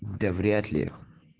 да вряд ли